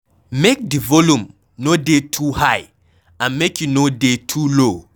Make di volume no dey too high and make e no dey too low